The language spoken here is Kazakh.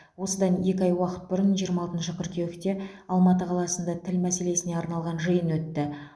осыдан екі ай уақыт бұрын жиырма алтыншы қыркүйекте алматы қаласында тіл мәселесіне арналған жиын өтті